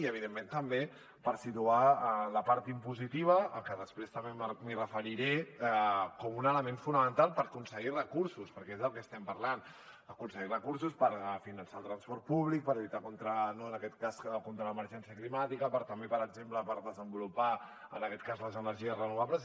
i evidentment també per situar la part impositiva que després també m’hi referiré com un element fonamental per aconseguir recursos perquè és del que estem parlant aconseguir recursos per finançar el transport públic per lluitar en aquest cas contra l’emergència climàtica també per exemple per desenvolupar les energies renovables